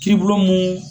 Kiiri bulon mun